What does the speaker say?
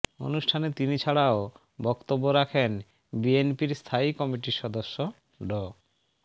অনুষ্ঠানে তিনি ছাড়াও বক্তব্য রাখেন বিএনপির স্থায়ী কমিটির সদস্য ড